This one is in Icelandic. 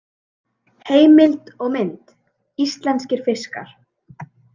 Heimild og mynd: Íslenskir fiskar.